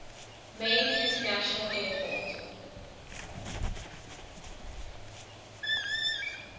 main international airport